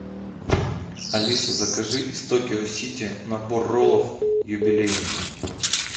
алиса закажи из токио сити набор роллов юбилейный